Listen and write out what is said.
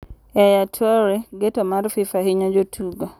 Yaya Toure: Ng'eto mar FIFA hinyo jotugo.